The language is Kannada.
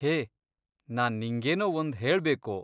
ಹೇ, ನಾನ್ ನಿಂಗೇನೋ ಒಂದ್ ಹೇಳ್ಬೇಕು.